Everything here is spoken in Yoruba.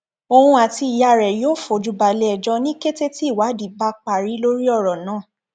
òun àti ìyá rẹ yóò fojú balẹẹjọ ní kété tí ìwádìí bá parí lórí ọrọ náà